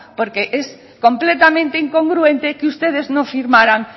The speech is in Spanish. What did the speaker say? porque es completamente incongruente que ustedes no firmaran